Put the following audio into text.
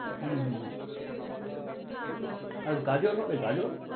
হম হম হম আর গাজর হবে? গাজর?